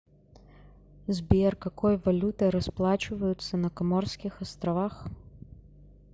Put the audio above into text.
сбер какой валютой расплачиваются на коморских островах